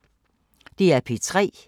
DR P3